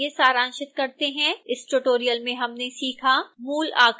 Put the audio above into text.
आइए सारांशित करते हैं इस ट्यूटोरियल में हमने सीखा